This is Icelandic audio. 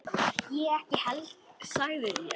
Ég ekki heldur sagði ég.